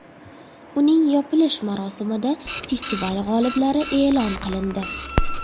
Uning yopilish marosimida festival g‘oliblari e’lon qilindi.